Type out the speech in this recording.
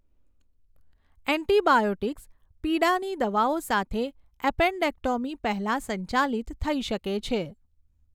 Antibiotics, પીડાની દવાઓ સાથે, એપેન્ડેક્ટોમી પહેલાં સંચાલિત થઈ શકે છે.